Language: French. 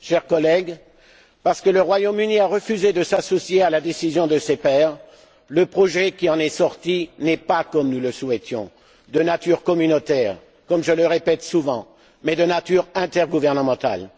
Chers collègues, étant donné que le Royaume Uni a refusé de s'associer à la décision de ses pairs, le projet qui en est sorti n'est pas, comme nous le souhaitions, de nature communautaire comme je le répète souvent mais de nature intergouvernementale.